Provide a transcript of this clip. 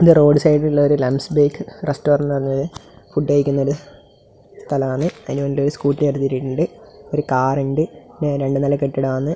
ഇത് റോഡ് സൈഡിലുളള ഒരു ലംബ്സ് ബേക്ക് റെസ്റ്റോറൻ്റ് ആണ് ഫുഡ് കയ്ക്കുന്നൊരു സ്ഥലാണ് അയിന് വേണ്ടിറ്റ് ഒരു സ്കൂട്ടി അടുതിറ്റിട്ടുണ്ട് ഒരു കാർ ഇണ്ട് പിന്നെ രണ്ട് നില കെട്ടിടാണ്.